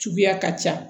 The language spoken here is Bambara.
Suguya ka ca